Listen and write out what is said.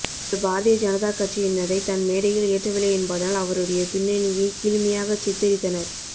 அவர் பாரதிய ஜனதாக் கட்சியினரை தன் மேடையில் ஏற்றவில்லை என்பதனால் அவருடைய பின்னணியை கீழ்மையாகச் சித்தரித்தனர்